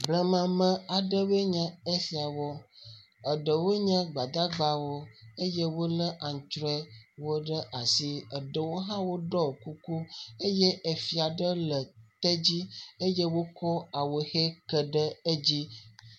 Blemame aɖewoe nye esiawo. Eɖewoe nye gbadagbawo eye wole aŋtrɔewo ɖe asi. Eɖewo hã ɖɔ kuku eye fia aɖe le tedzi eye wotsɔ awuʋi ke ɖe edzi.